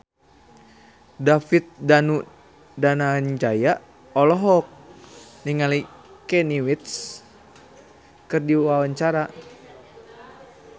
David Danu Danangjaya olohok ningali Kanye West keur diwawancara